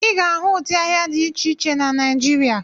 Ị ga-ahụ ụdị ahịhịa dị iche iche na Naijiria.